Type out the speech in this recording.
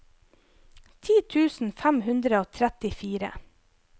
ti tusen fem hundre og trettifire